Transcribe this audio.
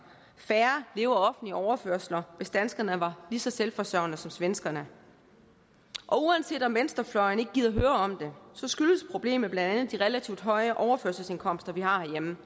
leve af offentlige overførsler hvis danskerne var lige så selvforsørgende som svenskerne uanset om venstrefløjen ikke gider høre om det skyldes problemet blandt andet de relativt høje overførselsindkomster vi har herhjemme